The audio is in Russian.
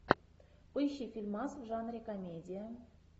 поищи фильмас в жанре комедия